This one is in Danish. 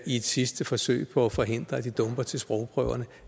et sidste forsøg på at forhindre at de dumper til sprogprøverne